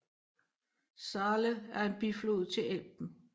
Saale er en biflod til Elben